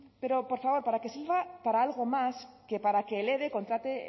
pero por favor para que sirva para algo más que para que el eve contrate